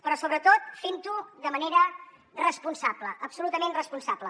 però sobretot fentho de manera responsable absolutament responsable